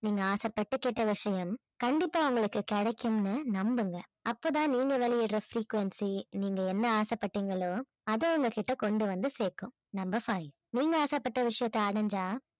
நீங்க ஆசைப்பட்டு கேட்ட விஷயம் கண்டிப்பா உங்களுக்கு கிடைக்கும்னு நம்புங்க அப்பதான் நீங்க வெளியிடற frequency நீங்க என்ன ஆசைப்பட்டீங்களோ அதை உங்ககிட்ட கொண்டு வந்து சேர்க்கும் number five நீங்க ஆசைப்பட்ட விஷயத்தை அடைஞ்சா